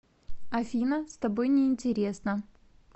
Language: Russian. афина с тобой неинтересно